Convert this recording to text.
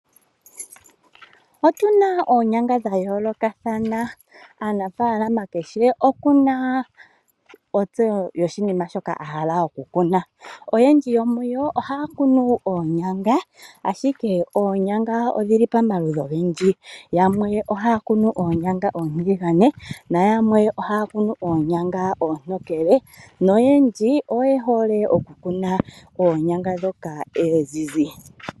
Otuna oonyanga dhayoolokathana, aanafaalama oyena ontse mwaashoka yahala oku kuna. Oyendji yomuyo oha ya kunu oonyanga, ashike oonyanga odhili pomaludhi ogendji. Yamwe ohaya kunu oonyanga oontiligane nayamwe ohayakunu oonyanga oontokele, noyendji, ohaya kunu oonyanga ndhoka oonzizi.